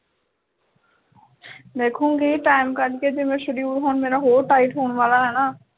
ਦੇਖੂੰਗੀ time ਕੱਢ ਕੇ ਜਿਵੇਂ ਮੇਰਾ schedule ਹੋਰ tight ਹੋਣ ਵਾਲਾ ਹੈਨਾ